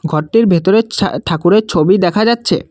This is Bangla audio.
ঘরটির ভেতরে ছা ঠাকুরের ছবি দেখা যাচ্ছে।